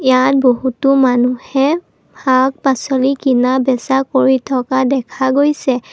ইয়াত বহুতো মানুহে শাক পাছলি কিনা বেচা কৰি থকা দেখা গৈছে।